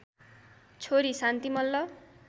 छोरी शान्ती मल्ल